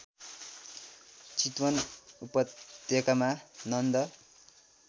चितवन उपत्यकामा नन्द